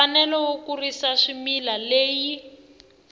mfanelo yo kurisa swimila leyi